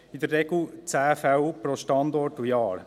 In der Regel sind dies 10 Fälle pro Standort und Jahr.